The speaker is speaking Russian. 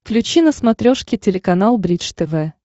включи на смотрешке телеканал бридж тв